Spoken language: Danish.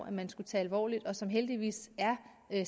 at man skulle tage alvorligt og som heldigvis er